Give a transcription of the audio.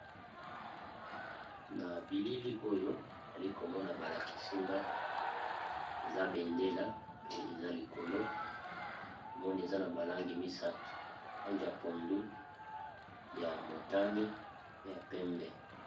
Na bilili oyo ali komona ba lakisi nga eza bendela pe eza likolo moni eza na ba langi misato langi ya pondu, ya motani, pe ya pembe.